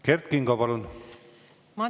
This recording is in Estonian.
Kert Kingo, palun!